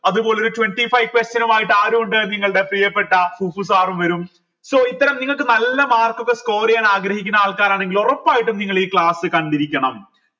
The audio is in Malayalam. അത് പോലൊരു twenty five question നുമായിട്ട് ആരു ഉണ്ട് നിങ്ങളുടെ പ്രിയപ്പെട്ട sir ഉം വരും so ഇത്തരം നിങ്ങൾക്ക് നല്ല mark ഒക്കെ score ചെയ്യാൻ ആഗ്രഹിക്കുന്ന ആൾക്കാരാണെങ്കിൽ ഒറപ്പായിട്ടും നിങ്ങൾ ഈ class കണ്ടിരിക്കണം